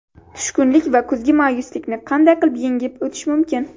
Tushkunlik va kuzgi mayuslikni qanday qilib yengib o‘tish mumkin?.